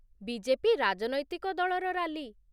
BJP. ରାଜନୈତିକ ଦଳର rally